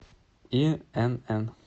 инн